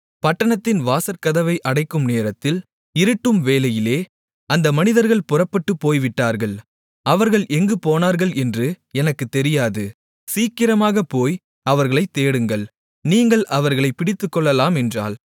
பட்டணத்தின் வாசற்கதவை அடைக்கும் நேரத்தில் இருட்டும்வேளையிலே அந்த மனிதர்கள் புறப்பட்டுப் போய்விட்டார்கள் அவர்கள் எங்கு போனார்கள் என்று எனக்குத் தெரியாது சீக்கிரமாகப் போய் அவர்களைத் தேடுங்கள் நீங்கள் அவர்களைப் பிடித்துக்கொள்ளலாம் என்றாள்